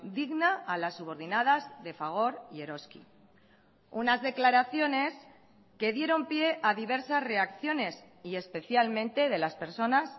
digna a las subordinadas de fagor y eroski unas declaraciones que dieron pie a diversas reacciones y especialmente de las personas